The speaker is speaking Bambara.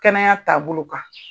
Kɛnɛya taabolo kan.